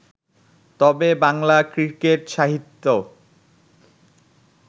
তবে বাংলা ক্রিকেট-সাহিত্য